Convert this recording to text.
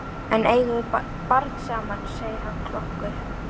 En við eigum barn saman, segir hann klökkur.